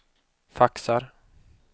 faxar